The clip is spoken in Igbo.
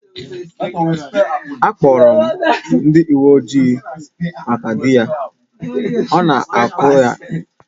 A kpọrọ m ndị uwe ojii maka di ya, ọ na-akụ ya ihe